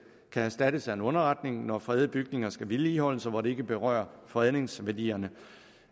kan erstattes af en underretning når fredede bygninger skal vedligeholdes og hvor det ikke berører fredningsværdierne